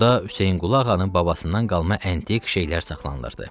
Orada Hüseynqulu ağanın babasından qalma antik şeylər saxlanılırdı.